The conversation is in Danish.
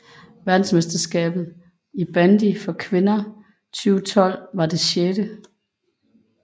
Verdensmesterskabet i bandy for kvinder 2012 var det 6